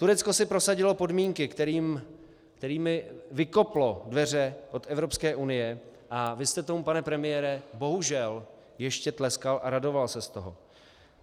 Turecko si prosadilo podmínky, kterými vykoplo dveře od Evropské unie, a vy jste tomu, pane premiére, bohužel ještě tleskal a radoval se z toho.